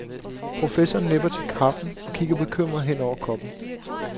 Professoren nipper til kaffen og kigger bekymret hen over koppen.